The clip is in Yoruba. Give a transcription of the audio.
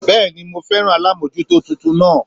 Béèni mo féràn alámójútó titun naa